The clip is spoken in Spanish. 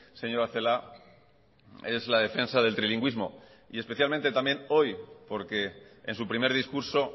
señora celaá es la defensa del trilingüismo y especialmente también hoy porque en su primer discurso